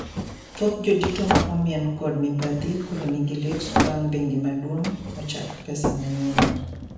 Thoth jodito ma omien kod mibadhi koro ni gi lit bang` bengi maduong` ochak pesa manyien no